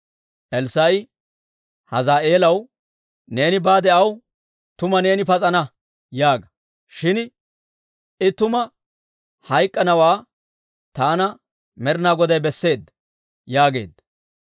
Elssaa'i Hazaa'eelaw, «Neeni baade aw, ‹Tuma neeni pas'ana› yaaga. Shin I tuma hayk'k'anawaa taana Med'ina Goday besseedda» yaageedda.